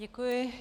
Děkuji.